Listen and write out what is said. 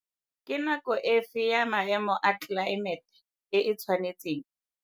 Ke nako efe ya maemo a tlelaemete e e tshwanetseng?